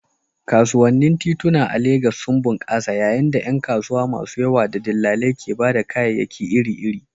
Kasuwannin tituna a Legas sun bunƙasa yayin da ƴan kasuwa masu yawa da dillalai ke ba da kayayyaki iri-iri.